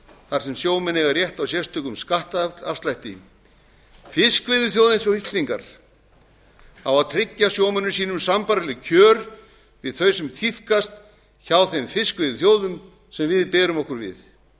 þar sem sjómenn eiga rétt á sérstökum skattafslætti fiskveiðiþjóð eins og íslendingar á að tryggja sjómönnum sínum sambærileg kjör við þau sem tíðkast hjá þeim fiskveiðiþjóðum sem við berum okkur við